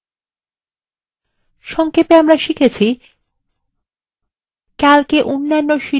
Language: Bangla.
সংক্ষেপে আমরা শিখেছি :